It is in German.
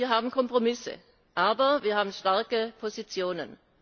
Ja, wir haben Kompromisse, aber wir haben starke Positionen.